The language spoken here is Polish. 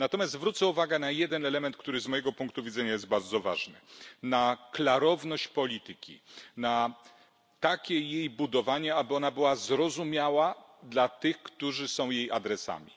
Natomiast zwrócę uwagę na jeden element, który z mojego punktu widzenia jest bardzo ważny, na klarowność polityki, na takie jej budowanie, aby ona była zrozumiała dla tych, którzy są jej adresatami.